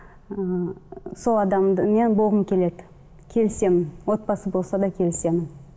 ыыы сол адамды мен болғым келеді келісемін отбасы болса да келісемін